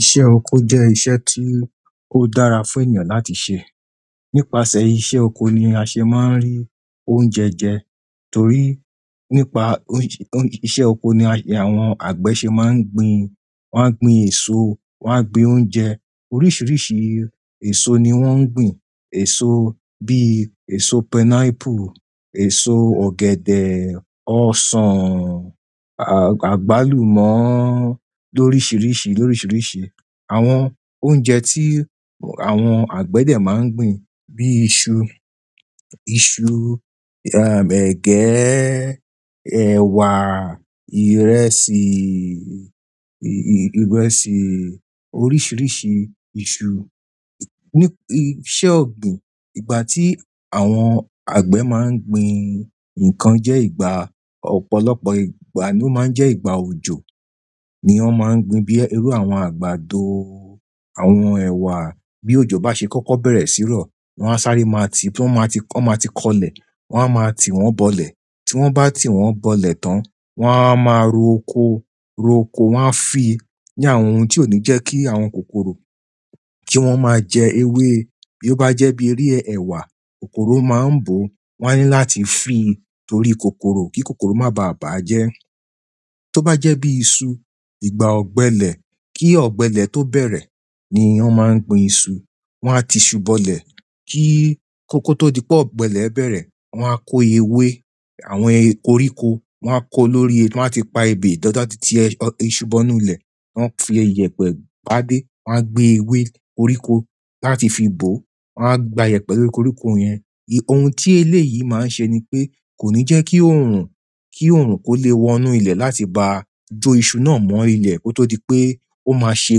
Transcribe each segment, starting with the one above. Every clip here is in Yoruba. Iṣẹ́ oko jẹ́ iṣẹ́ tí ó dára fún ènìyàn láti ṣẹ. Nípasẹ̀ iṣẹ́ oko ni a ṣe máa ń rí oúnjẹ jẹ torí nípa iṣẹ́ oko ni àwọn àgbẹ̀ ṣe máa ń gbin, wọ́n a gbin èso, wọ́n a gbin oúnjẹ. Oríṣìíríṣìí èso ni wọ́n ń gbin. Èso bíi èso pineapple, èso ọ̀gẹ̀dẹ̀, ọsàn, àgbálùmọ́ lóríṣìíríṣìí, lóríṣìíríṣìí. Àwọn oúnjẹ tí àwọn àgbẹ̀ dẹ máa ń gbin bíi iṣu, ẹgẹ́, ẹ̀wà, ìrẹsì, oríṣìíríṣìí iṣu. Iṣẹ́ ogbin, ìgbà tí àwọn àgbẹ maa n gbin nǹkan jẹ ìgbà, ọ̀pọ̀lọpọ̀ ìgbà ni o maa n jẹ ìgbà òjò ni wọn maa gbin bíi iru àwọn àgbàdo, àwọn èwà bí òjò bá ṣe kọ́kọ́ bẹ̀rẹ̀ sí rọ, wọ́n á sáré máa ti, wọ́n máa ti kọlẹ̀, wọ́n á máa ti wọ́n bọlẹ̀. Tí wọ́n bá ti wọ́n bọlẹ̀ tán, wọ́n á máa róko, wọ́n á fi ní àwọn ohun tí ó ní jẹ́ kí àwọn kòkòrò kí wọ́n máa jẹ ewé. Bí ó bá jẹ́ bí eré ẹ̀wà, kòkòrò máa ń bò, wọ́n á ní láti fi torí kòkòrò kí kòkòrò má ba à bàjẹ́. Tó bá jẹ́ bíi iṣu, ìgbà ọ̀gbẹlẹ̀ kí ọ̀gbẹlẹ̀ tó bẹ̀rẹ̀ ni wọ́n máa ń gbin iṣu. Wọ́n á tiṣu bọlẹ̀ kó tó di pé ọ̀gbẹlẹ̀ bẹ̀rẹ̀, wọ́n á kó ewé àwọn koríko, wọ́n á kó lórí, wọ́n á ti pa ebè dáadáa tí ẹṣu bọnu ilẹ̀, wọ́n a fi iyẹ̀pẹ̀ pa dé, wọ́n á gbé ewé koríko láti fi bò, wọ́n á gbàyèpẹ̀ lórí koríko yẹn. Ohun tí eléyìí máa ń ṣe ni pé kò ní jẹ́ kí orun, kò lè wọnú ilẹ̀ láti bá jó iṣu náà mọ́ ilẹ̀ kó tó di pé ó máa ṣe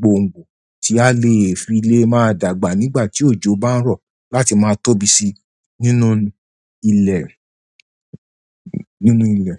gboǹgbò tí a lè fi lé máa dàgbà nígbà tí òjò bá ń rọ̀ láti máa tóbi si nínú ile.